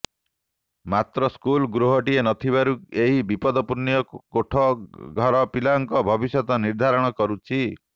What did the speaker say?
ମାତ୍ର ସ୍କୁଲ ଗୃହଟିଏ ନଥିବାରୁ ଏହି ବିପଦପୂର୍ଣ୍ଣ କୋଠ ଘର ପିଲାଙ୍କ ଭବିଷ୍ୟତ ନିର୍ଧାରଣ କରୁଛି